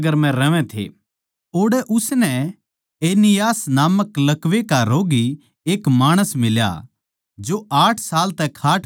ओड़ै उसनै एनियास नामक लकवे का रोग्गी एक माणस मिल्या जो आठ साल तै खाट पै पड्या था